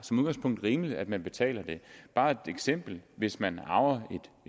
rimeligt at man betaler det bare et eksempel hvis man arver